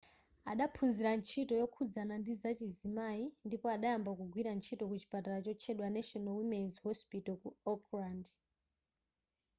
adaphunzira ntchito yokhuzana ndizachizimayi ndipo adayamba kugwira ntchito ku chipatala chotchedwa national women's hospital ku auckland